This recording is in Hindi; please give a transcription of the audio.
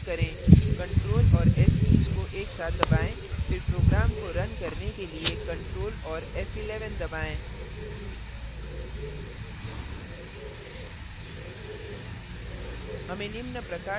अब file को key करें ctrl और s key को एक साथ दबाएँ फिर program को now करने के लिए ctrl और f11 दबाएँ